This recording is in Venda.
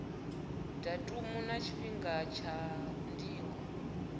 datumu na tshifhinga tsha ndingo